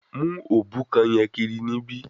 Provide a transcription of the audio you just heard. Mu obukan yen kiri nibi